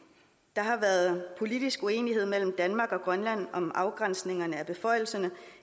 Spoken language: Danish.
der har været politisk uenighed mellem danmark og grønland om afgrænsningen af beføjelserne